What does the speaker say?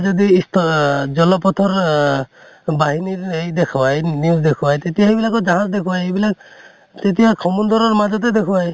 যদি ইছ অ, জলপথৰ অহ বাহিনীৰ এই দেখোৱাই, news দেখোৱাই তেতিয়া সেইবিলাকত জাহাজ দেখোৱাই, এইবিলাক তেতিয়া সমুন্দৰৰ মাজ্তে দেখোৱাই